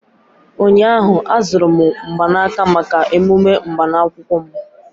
ụnyahụ, azụrụ m mgbanaka maka emume agbamakwụkwọ m